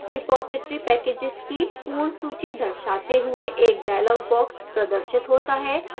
repository packages की पूर्ण सूची दर्शाते हुए एक dialog box प्रदर्शित होता है